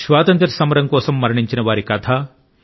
స్వాతంత్ర్య సమరం దేశం కోసం మరణించిన వారి కథ